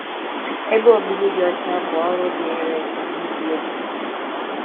Ebe obibi dị ọcha bụ ọrụ dịịrị ndị nile bi n’ime ya